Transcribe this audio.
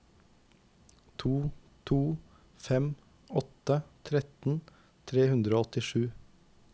to to fem åtte tretten tre hundre og åttisju